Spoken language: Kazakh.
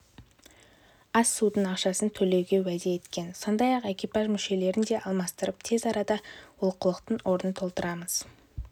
ас-судың ақшасын төлеуге уәде еткен сондай-ақ экипаж мүшелерін де алмастырып тез арада олқылықтың орнын толтырамыз